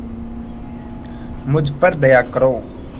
मुझ पर दया करो